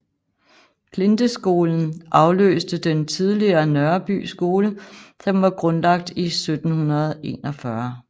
Klinteskolen afløste den tidligere Nørreby skole som var grundlagt i 1741